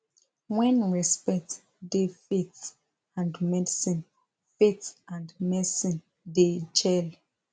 when respect da faith and medicine faith and medicine da jell